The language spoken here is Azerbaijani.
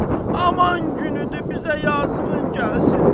Aman günüdür, bizə yazığın gəlsin.